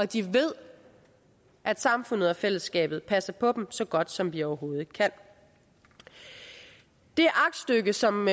de ved at samfundet og fællesskabet passer på dem så godt som vi overhovedet kan det aktstykke som